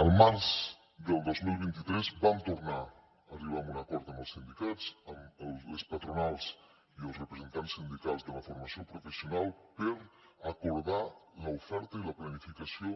al març del dos mil vint tres vam tornar a arribar a un acord amb els sindicats amb les patronals i els representants sindicals de la formació professional per acordar l’oferta i la planificació